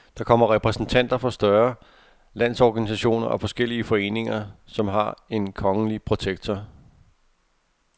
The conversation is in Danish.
Der kommer repræsentanter for større landsorganisationer og forskellige foreninger, som har en kongelige protektor.